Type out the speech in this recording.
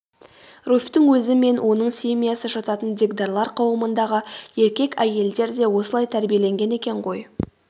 руфьтің өзі мен оның семьясы жататын дегдарлар қауымындағы еркек әйелдер де осылай тәрбиеленген екен ғой